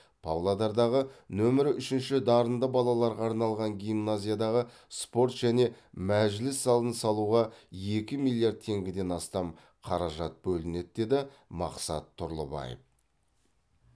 павлодардағы нөмірі үшінші дарынды балаларға арналған гимназиядағы спорт және мәжіліс залын салуға екі миллиард теңгеден астам қаражат бөлінеді деді мақсат тұрлыбаев